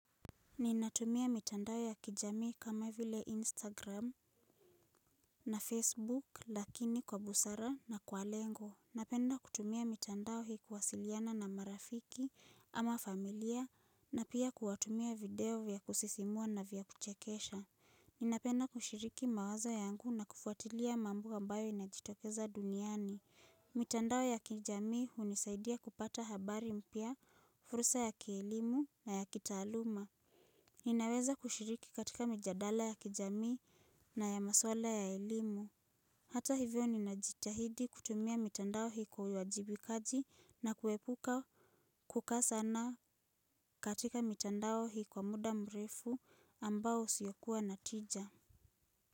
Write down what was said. Ninatumia mitandao ya kijamii kama vile Instagram na Facebook lakini kwa busara na kwa lengo. Napenda kutumia mitandao hii kuwasiliana na marafiki ama familia na pia kuwatumia video vya kusisimua na vya kuchekesha. Ninapenda kushiriki mawazo yangu na kufuatilia mambo ambayo inajitokeza duniani. Mitandao ya kijami hunisaidia kupata habari mpya, fursa ya kielimu na ya kitaaluma. Ninaweza kushiriki katika mijadala ya kijami na ya maswala ya elimu. Hata hivyo ninajitahidi kutumia mitandao hii kwa uwajibikaji na kuepuka kukaa sana katika mitandao hii muda mrefu ambao usiokuwa na tija.